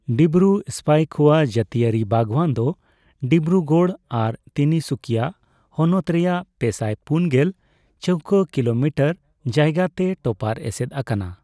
ᱰᱤᱵᱽᱨᱩ ᱥᱯᱭᱠᱷᱚᱣᱟ ᱡᱟ.ᱛᱤᱭᱟ.ᱨᱤ ᱵᱟᱜᱽᱣᱟᱱ ᱫᱚ ᱰᱤᱵᱽᱨᱩᱜᱚᱲ ᱟᱨ ᱛᱤᱱᱤᱥᱩᱠᱤᱭᱟ ᱦᱚᱱᱚᱛ ᱨᱮᱭᱟᱜ ᱯᱮᱥᱟᱭ ᱯᱩᱱᱜᱮᱞ ᱪᱟ.ᱣᱠᱟ. ᱠᱤᱞᱚ ᱢᱤᱴᱟᱨ ᱡᱟᱭᱜᱟ ᱛᱮ ᱴᱚᱯᱟᱨ ᱮᱥᱮᱫ ᱟᱠᱟᱱᱟ।